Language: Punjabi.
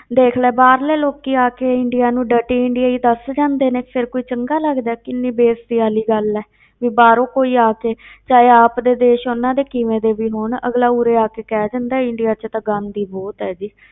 ਦੇਖ ਲੈ ਬਾਹਰ ਦੇ ਲੋਕੀ ਆ ਕੇ ਇੰਡੀਆ ਨੂੰ dirty ਇੰਡੀਆ ਹੀ ਦੱਸ ਜਾਂਦੇ ਨੇ, ਫਿਰ ਕੋਈ ਚੰਗਾ ਲੱਗਦਾ ਹੈ ਕਿੰਨੀ ਬੇਇਜਤੀ ਵਾਲੀ ਗੱਲ ਹੈ ਵੀ ਬਾਹਰੋਂ ਕੋਈ ਆ ਕੇ ਚਾਹੇ ਆਪ ਦੇ ਦੇਸ ਉਨ੍ਹਾਂ ਦੇ ਕਿਵੇਂ ਦੇ ਵੀ ਹੋਣ, ਅਗਲਾ ਉਰੇ ਆ ਕੇ ਕਹਿ ਜਾਂਦਾ ਇੰਡੀਆ ਵਿੱਚ ਤਾਂ ਗੰਦ ਹੀ ਬਹੁਤ ਹੈ ਜੀ,